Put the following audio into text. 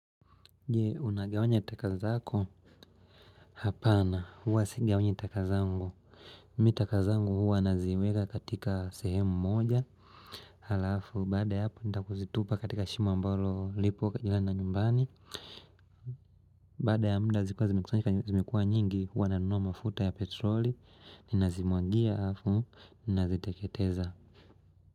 Je, unagawanya taka zako? Hapana huwa sigawanyi taka zangu Mi taka zangu huwa naziweka katika sehemu moja Halafu baada ya hapo nita kuzitupa katika shimo ambalo lipo karibu na nyumbani Baada ya mda zikiwa zimekusanyika zimekuwa nyingi huwa nanunua mafuta ya petroli. Ninazimwangia halafu ninaziteketeza.